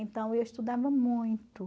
Então, eu estudava muito.